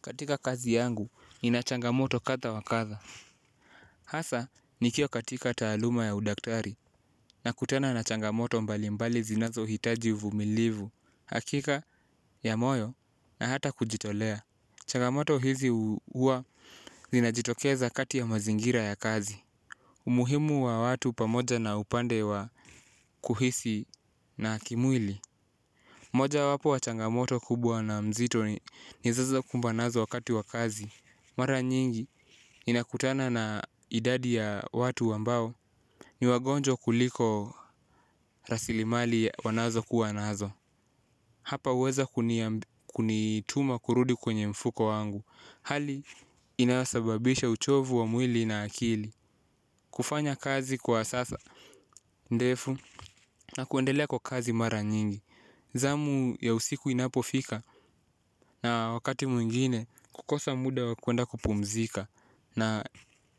Katika kazi yangu nina changamoto kadha wa kadha hasa nikiwa katika taaluma ya udaktari. Nakutana na changamoto mbali mbali zinazohitaji uvumilivu. Hakika ya moyo na hata kujitolea. Changamoto hizi huwa zinajitokeza kati ya mazingira ya kazi umuhimu wa watu pamoja na upande wa kuhisi na kimwili. Moja wapo wa changamoto kubwa na nzito nizazo kumba nazo wakati wa kazi. Mara nyingi ninakutana na idadi ya watu ambao ni wagonjwa kuliko rasilimali wanazo kuwa nazo. Hapa huweza kunituma kurudi kwenye mfuko wangu. Hali inasababisha uchovu wa mwili na akili. Kufanya kazi kwa sasa. Ndefu na kuendelea kwa kazi mara nyingi. Zamu ya usiku inapo fika na wakati mwingine kukosa muda wa kwenda kupumzika. Na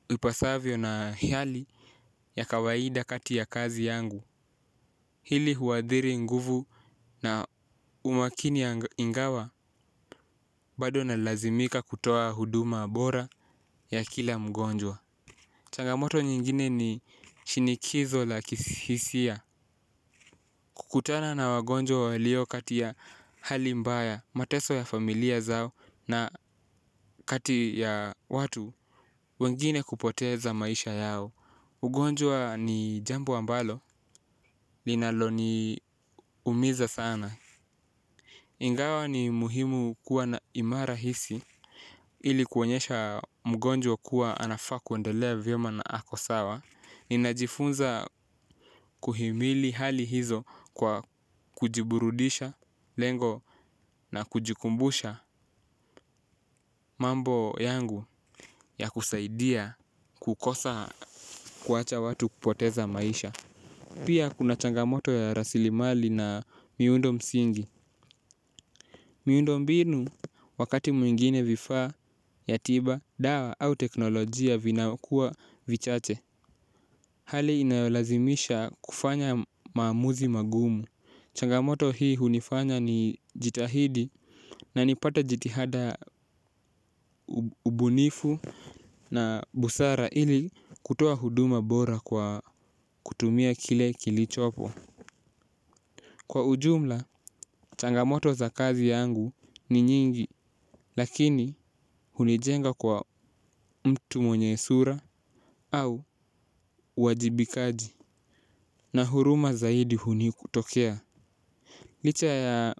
ipasavyo na hiali ya kawaida kati ya kazi yangu. Hili huadhiri nguvu na umakini ya ingawa bado nalazimika kutoa huduma bora ya kila mgonjwa. Changamoto nyingine ni shinikizo la kihisia. Kukutana na wagonjwa walio kati ya hali mbaya mateso ya familia zao na kati ya watu wengine kupoteza maisha yao ugonjwa ni jambu ambalo, linalo ni umiza sana. Ingawa ni muhimu kuwa na imara hisi ili kuonyesha mgonjwa kuwa anafaa kuendelea vyema na ako sawa. Ninajifunza kuhimili hali hizo kwa kujiburudisha lengo na kujikumbusha mambo yangu ya kusaidia kukosa kuwacha watu kupoteza maisha. Pia kuna changamoto ya rasili mali na miundo msingi. Miundo mbinu wakati mwingine vifaa ya tiba, dawa au teknolojia vinakuwa vichache. Hali inayolazimisha kufanya maamuzi magumu. Changamoto hii hunifanya ni jitahidi na nipate jitihada ubunifu na busara ili kutoa huduma bora kwa kutumia kile kilichopo. Kwa ujumla, changamoto za kazi yangu ni nyingi, lakini hunijenga kwa mtu mwenye sura au uwajibikaji na huruma zaidi huni kutokea. Licha ya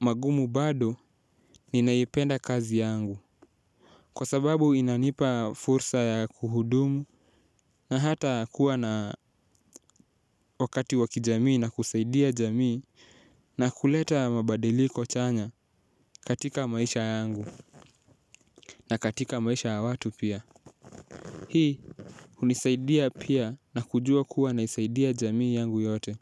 magumu bado ninaipenda kazi yangu. Kwa sababu inanipa fursa ya kuhudumu na hata kuwa na wakati wa kijamii na kusaidia jamii na kuleta mabadiliko chanya katika maisha yangu. Na katika maisha ya watu pia. Hii unisaidia pia na kujua kuwa naisaidia jamii yangu yote.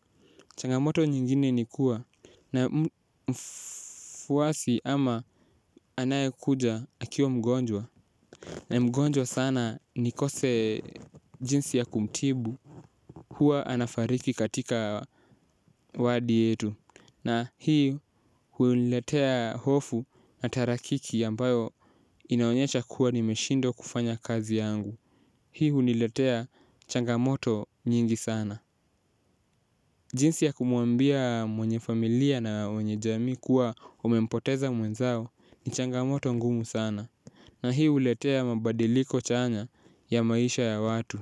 Changamoto nyingine ni kuwa na mfuwasi ama anaye kuja akiwa mgonjwa. Na mgonjwa sana nikose jinsi ya kumtibu huwa anafariki katika wadi yetu na huu huniletea hofu na tahakiki ambayo inaonyesha kuwa nimeshindwa kufanya kazi yangu. Hii huniletea changamoto nyingi sana jinsi ya kumuambia mwenye familia na wenye jamii kuwa umempoteza mwenzao ni changamoto ngumu sana. Na hii huletea mabadiliko chanya ya maisha ya watu.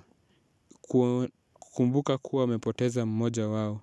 Kukumbuka kuwa umepoteza mmoja wawo.